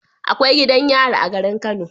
Akwai gidan yari a garin kano